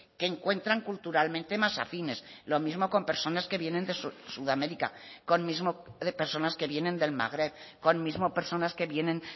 que encuentran culturalmente más afines lo mismo con personas que vienen de sudamérica con mismo de personas que vienen del magreb con mismo personas que vienen